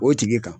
O tigi kan